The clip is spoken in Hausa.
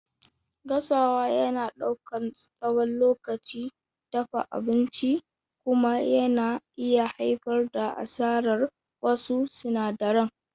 Gasawa yana ɗaukar tsawon lokacin dafa abinci kuma yana iya haifar da asarar wasu sinadaran.